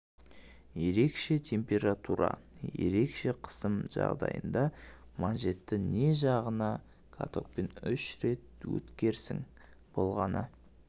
ерекше температура ерекше қысым жағдайында манжетті не жағаны катоктан үш рет өткерсең болғаны